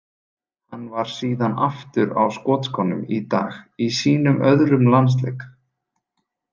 Hann var síðan aftur á skotskónum í dag í sínum öðrum landsleik.